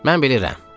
Mən bilirəm.